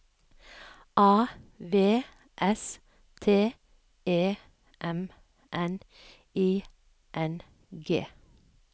A V S T E M N I N G